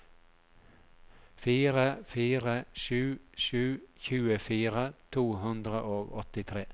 fire fire sju sju tjuefire to hundre og åttitre